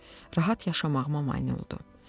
Rahat yaşamağıma mane oldu.